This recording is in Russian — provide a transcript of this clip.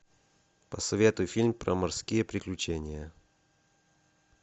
посоветуй фильм про морские приключения